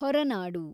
Horanadu